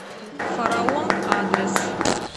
фараон адрес